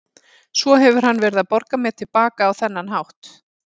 Svo hefur hann verið að borga mér til baka á þennan hátt.